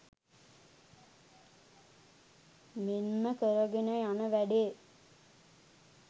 මෙන්ම කරගෙන යන වැඩේ